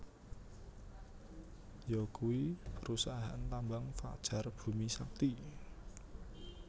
Yo kui perusahaan tambang Fajar Bumi Sakti